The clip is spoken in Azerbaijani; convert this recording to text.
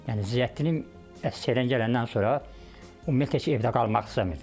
Yəni Ziyəddin əsgərlikdən gələndən sonra ümumiyyətlə heç evdə qalmaq istəmirdi.